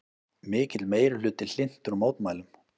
Mikill meirihluti hlynntur mótmælum